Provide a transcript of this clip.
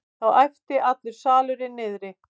Þá æpti allur salurinn niðri.